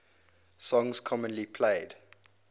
songs commonly played